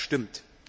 Ja, das stimmt.